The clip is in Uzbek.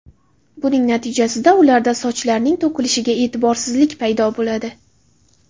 Buning natijasida ularda sochlarining to‘kilishiga e’tiborsizlik paydo bo‘ladi.